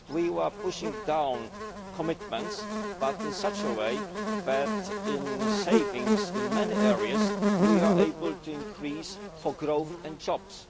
We were pushing down commitments but in such a way that, through savings in many areas, we are able to increase headings for growth and jobs.